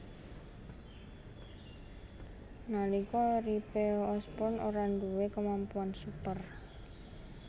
Nalika uripe Osborn ora duwé kemampuan super